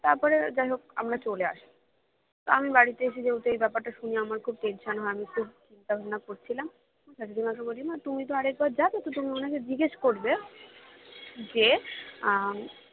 তারপরে যাইহোক আমরা চলে আসি তা বাড়িতে এসে যেহেতু আমি ব্যাপারটা শুনি আমার খুব tension হয় আমি খুব চিন্তা ভাবনা করছিলাম শাশুড়ীমাকে বলছিলাম তুমি তো আরেকবার যাবে তো তুমি ওনাকে জিজ্ঞেস করবে যে আহ